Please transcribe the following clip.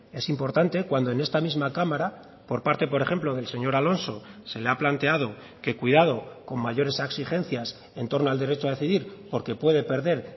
es importante cuando en esta misma cámara por parte por ejemplo del señor alonso se le ha planteado que cuidado con mayores exigencias entorno al derecho a decidir porque puede perder